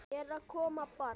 Er að koma barn?